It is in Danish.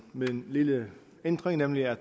med en lille ændring nemlig at